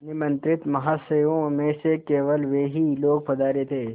निमंत्रित महाशयों में से केवल वे ही लोग पधारे थे